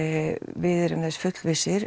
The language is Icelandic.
við erum þess fullvissir